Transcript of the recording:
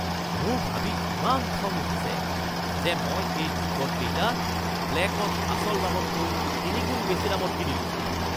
মোৰ ভাবি ইমান খং উঠিছে যে মই এই টিকটকেইটা ব্লেকত আচল দামতকৈ তিনিগুণ বেছি দামত কিনিলোঁ